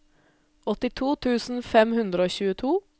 åttito tusen fem hundre og tjueto